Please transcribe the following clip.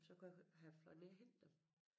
Så kunne jeg have fløjet ned og hente dem